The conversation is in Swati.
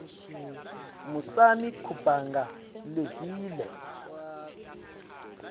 musani kubanga lelive